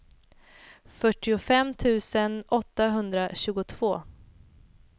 fyrtiofem tusen åttahundratjugotvå